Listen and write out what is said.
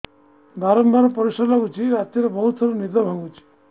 ବାରମ୍ବାର ପରିଶ୍ରା ଲାଗୁଚି ରାତିରେ ବହୁତ ଥର ନିଦ ଭାଙ୍ଗୁଛି